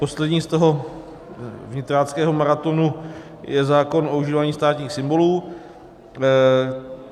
Poslední z toho vnitráckého maratonu je zákon o užívání státních symbolů.